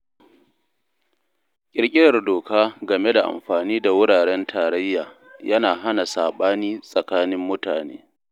Ƙirƙirar doka game da amfani da wuraren tarayya yana hana saɓani tsakanin mutane.